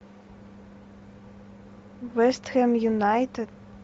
вест хэм юнайтед